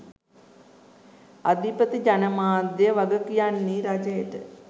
අධිපති ජනමාධ්‍ය වගකියන්නේ රජයට